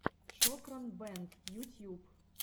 шокран бэнд ютьюб